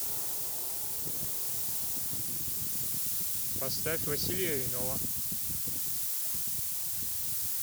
поставь василия иного